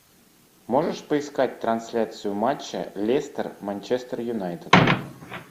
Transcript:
можешь поискать трансляцию матча лестер манчестер юнайтед